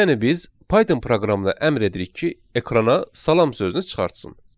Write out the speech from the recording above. Yəni biz Python proqramına əmr edirik ki, ekrana salam sözünü çıxartsın.